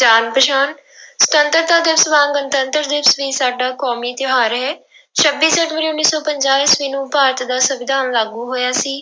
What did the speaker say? ਜਾਣ ਪਛਾਣ ਸੁਤੰਤਰਤਾ ਦਿਵਸ ਵਾਂਗ ਗਣਤੰਤਰ ਦਿਵਸ ਵੀ ਸਾਡਾ ਕੌਮੀ ਤਿਉਹਾਰ ਹੈ ਛੱਬੀ ਜਨਵਰੀ ਉੱਨੀ ਸੌ ਪੰਜਾਹ ਈਸਵੀ ਨੂੰ ਭਾਰਤ ਦਾ ਸੰਵਿਧਾਨ ਲਾਗੂ ਹੋਇਆ ਸੀ,